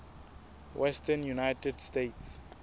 western united states